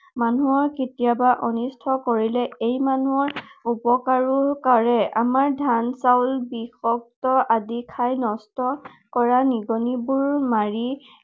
মানুহৰ কেতিয়াবা অনিষ্ট কৰিলেও ই মানুহৰ উপকাৰো কৰে। আমাৰ ধান চাউল, বীজপত্ৰ আদি খাই নষ্ট কৰা নিগনি বোৰ মাৰি